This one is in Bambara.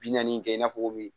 Bi naani kɛ i n'a fɔ min